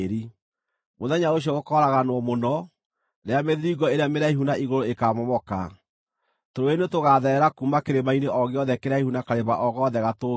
Mũthenya ũcio gũkooraganwo mũno, rĩrĩa mĩthiringo ĩrĩa mĩraihu na igũrũ ĩkaamomoka, tũrũũĩ nĩtũgaatherera kuuma kĩrĩma-inĩ o gĩothe kĩraihu na karĩma o gothe gatũũgĩru.